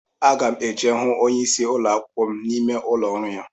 Aga m eje hụ onyeisi ụlọ akwụkwọ n'ime ụlọ ọrụ ya